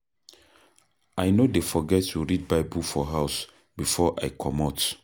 I no dey forget to read Bible for house before I comot.